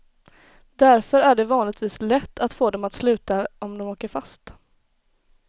Därför är det vanligtvis lätt att få dem att sluta om de åker fast.